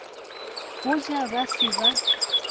go ja ba se ba